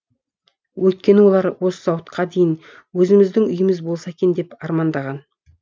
өйткені олар осы уақытқа дейін өзіміздің үйіміз болса екен деп армандаған